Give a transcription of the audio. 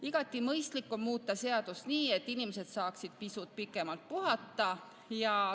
Igati mõistlik on muuta seadust nii, et inimesed saaksid pisut pikemalt puhata.